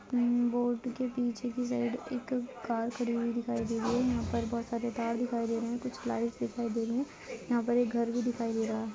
Man board के पीछे की साइड एक कार खड़ी हुई दिखाई दे रही है यहाँ पर बहुत सारे तार दिखाई दे रहे है कुछ लाइट्स दिखाई दे रही है यहाँ पर एक घर भी दिखाई दे रहा है।